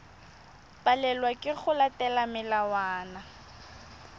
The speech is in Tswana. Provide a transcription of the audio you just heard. palelwa ke go latela melawana